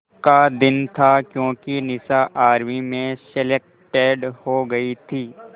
का दिन था क्योंकि निशा आर्मी में सेलेक्टेड हो गई थी